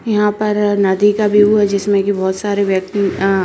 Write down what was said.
यहाँ पर नदी का वेउ है जिसमे की बहुत सारे व्यक्ति अ --